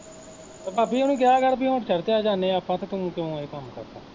ਭਾਬੀ ਓੁਨੂੰ ਕਿਹਾ ਕਰ ਹੁਣ ਠਹਿਰ ਕੇ ਆ ਜਾਨੇ ਆਪਾਂਂ ਤੇ ਤੂੰ, ਤੂੰ ਇਹ ਕੰਮ ਕਰ।